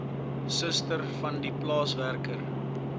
suster vandie plaaswerker